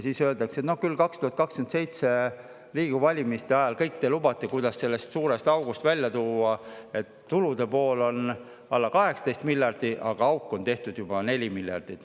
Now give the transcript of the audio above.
Siis öeldakse, et noh, küll te 2027. aasta Riigikogu valimiste eel kõik lubate, kuidas välja tulla sellest suurest august, kus tulude pool on alla 18 miljardi ja auk on juba 4 miljardit.